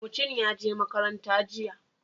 Mucin ya je makaranta jiya.